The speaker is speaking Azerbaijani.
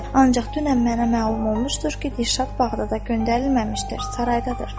Ancaq dünən mənə məlum olmuşdur ki, Dirşad Bağdadda göndərilməmişdir, saraydadır.